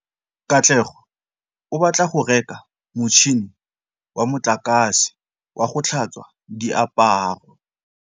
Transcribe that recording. Katlego o batla go reka motšhine wa motlakase wa go tlhatswa diaparo.